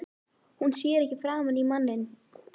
Hún sér ekki framan í manninn.